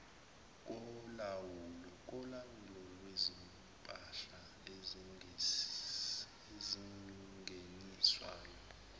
kolawulo lwezimpahla ezingeniswayo